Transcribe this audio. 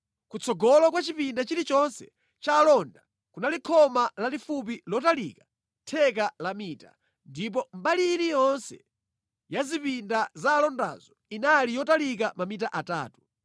Kutsogolo kwa chipinda chilichonse cha alonda kunali khoma lalifupi lotalika theka la mita, ndipo mbali iliyonse ya zipinda za alondazo inali yotalika mamita atatu.